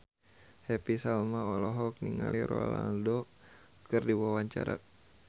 Happy Salma olohok ningali Ronaldo keur diwawancara